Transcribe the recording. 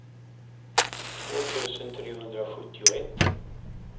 två tusen trehundrasjuttioett